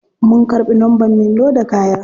Mun karbi numbern me loda kaya.